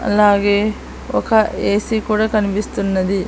అలాగే ఒక A C కూడా కనిపిస్తున్నది.